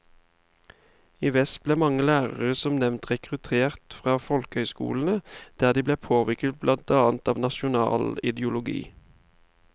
I vest ble mange lærere som nevnt rekruttert fra folkehøyskolene, der de ble påvirket blant annet av nasjonal ideologi.